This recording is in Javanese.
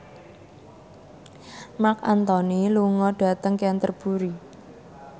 Marc Anthony lunga dhateng Canterbury